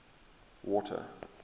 water